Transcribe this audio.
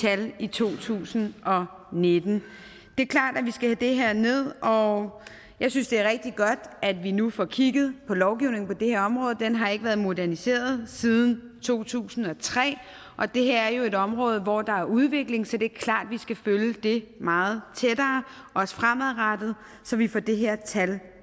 i to tusind og nitten det er klart at vi skal have det her ned og jeg synes det er rigtig godt at vi nu får kigget på lovgivningen på det her område den har ikke været moderniseret siden to tusind og tre og det her er jo et område hvor der er udvikling så det er klart at vi skal følge det meget tættere også fremadrettet så vi får det her tal